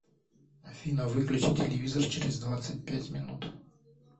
афина выключи телевизор через двадцать пять минут